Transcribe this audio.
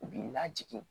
U b'i lajigin